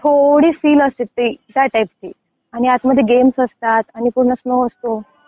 थोडी फील असते ती त्या टाईपची. आणि आत मध्ये गेम्स असतात आणि पूर्ण स्नो असतो.